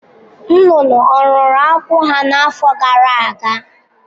Nnụnụ ọ̀ rụrụ akwụ́ ha n’afọ gara aga?